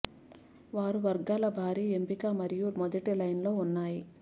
వారు వర్గాల భారీ ఎంపిక మరియు మొదటి లైన్ లో ఉన్నాయి